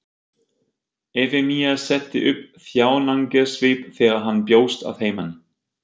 Efemía setti upp þjáningarsvip þegar hann bjóst að heiman.